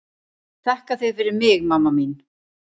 Þakka þér fyrir mig mamma mín.